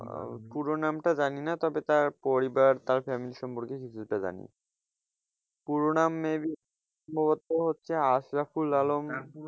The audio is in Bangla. পুরো নামটা জানিনা, তবে তার পরিবার তার family সম্পর্কে কিছুটা জানি পুরো নাম maybe তো হচ্ছে আশরাফুল আলম,